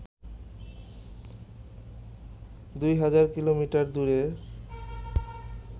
দুই হাজার কিলোমিটার দূরের